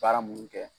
Baara munnu kɛ